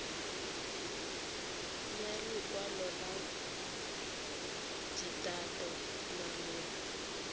ya lekwalo la dithata malebana